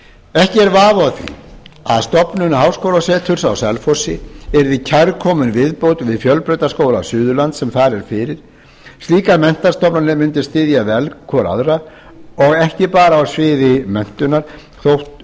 ekki er vafi á því að stofnun háskólaseturs á selfossi yrði kærkomin viðbót við fjölbrautaskóla suðurlands sem þar er fyrir slíkar menntastofnanir mundu styðja vel hvor við aðra og ekki bara á sviði menntunar þótt